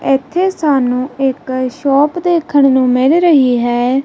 ਇਥੇ ਸਾਨੂੰ ਇਕ ਸ਼ੋਪ ਦੇਖਣ ਨੂੰ ਮਿਲ ਰਹੀ ਹੈ।